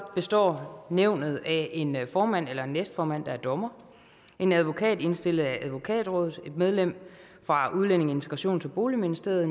består nævnet af en formand eller en næstformand der er dommer en advokat indstillet af advokatrådet et medlem fra udlændinge integrations og boligministeriet